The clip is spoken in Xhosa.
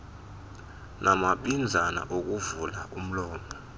namabinzana okuvula umlomo